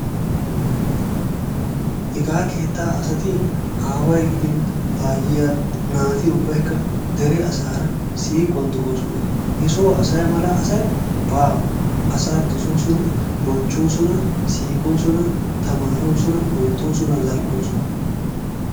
Hegaa keettaa asati aaway gidin ayiiya naati ubbaykka deriya asaara siiquwan de'oosona. Hesoo asa mala asay baawa. Asaa dosoosonna, bonchchoosonna, siiqoosona, tamaaroosonna, oottoosonna, zal'oosonna.